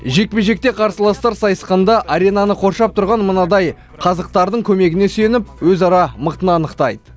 жекпе жекте қарсыластар сайысқанда аренаны қоршап тұрған мынадай қазықтардың көмегіне сүйеніп өзара мықтыны анықтайды